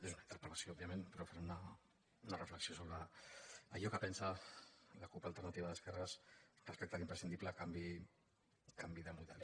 és una interpel·lació òbvia·ment però faré una reflexió sobre allò que pensa la cup · alternativa d’esquerres respecte a l’impres·cindible canvi de model